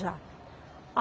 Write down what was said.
Já.